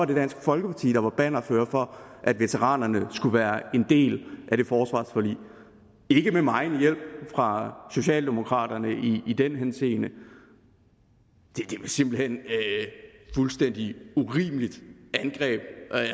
det dansk folkeparti der var bannerfører for at veteranerne skulle være en del af det forsvarsforlig ikke med megen hjælp fra socialdemokraterne i i den henseende det er simpelt hen et fuldstændig urimeligt angreb